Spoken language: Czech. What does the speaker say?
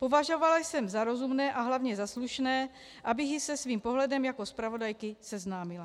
Považovala jsem za rozumné a hlavně za slušné, abych ji se svým pohledem jako zpravodajky seznámila.